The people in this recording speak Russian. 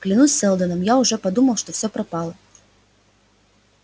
клянусь сэлдоном я уже подумал что всё пропало